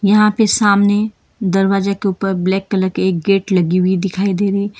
यहां पे सामने दरवाजे के ऊपर ब्लैक कलर के एक गेट लगी हुई दिखाई दे रही--